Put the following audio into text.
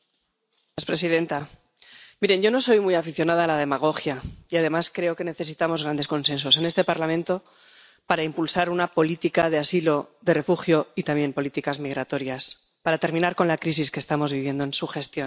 Señora presidenta, miren, yo no soy muy aficionada a la demagogia, y además creo que necesitamos grandes consensos en este Parlamento para impulsar una política de asilo, de refugio, y también políticas migratorias, para terminar con la crisis que estamos viviendo en su gestión.